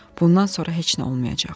Bundan sonra heç nə olmayacaq.